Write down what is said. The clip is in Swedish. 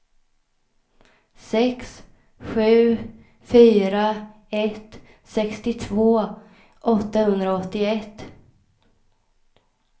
sex sju fyra ett sextiotvå åttahundraåttioett